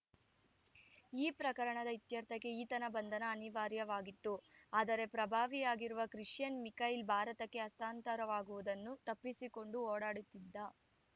ಈ ಪ್ರಕರಣದ ಇತ್ಯರ್ಥಕ್ಕೆ ಈತನ ಬಂಧನ ಅನಿವಾರ್ಯವಾಗಿತ್ತು ಆದರೆ ಪ್ರಭಾವಿಯಾಗಿರುವ ಕ್ರಿಸೈಯನ್‌ ಮಿಕೈಲ್‌ ಭಾರತಕ್ಕೆ ಹಸ್ತಾಂತರವಾಗುವುದನ್ನು ತಪ್ಪಿಸಿಕೊಂಡು ಓಡಾಡುತ್ತಿದ್ದ